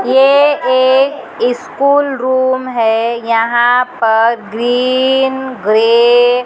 ये एक school room है यहां पर ग्रीन ग्रे --